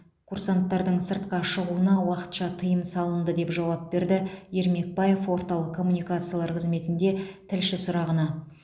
курсанттардың сыртқа шығуына уақытша тыйым салынды деп жауап берді ермекбаев орталық коммуникациялар қызметінде тілші сұрағына